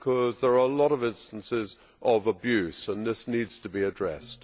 There are a lot of instances of abuse, and this needs to be addressed.